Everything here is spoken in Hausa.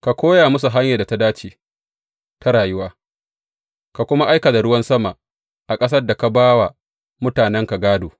Ka koya musu hanyar da ta dace ta rayuwa, ka kuma aika da ruwan sama a ƙasar da ka ba wa mutanenka gādo.